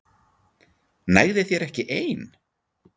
Nægði þér ekki ein?